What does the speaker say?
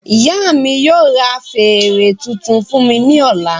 Ìyá mí yóò ra fèrè tuntun fún mi ní ọ̀la